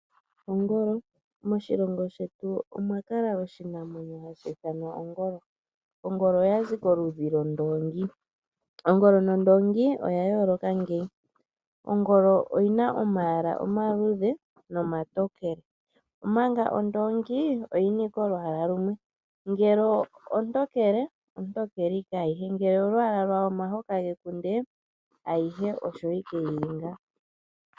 Ongolo, moshilongo shetu omwakala oshinamwenyo hashi ithanwa ongolo. Ongolo oyazi koludhi lwOndoongi. Ongolo nOndoongi oya yooloka ngeyi, Ongolo oyina omayala omaluudhe noma tokele omanga ondoongi oyina ashike olwaala lumwe . Ngele ontokele, ontokele ike ayihe. Ngele olwaala lwaho omahoka gekunde, ayihe osho ike yili.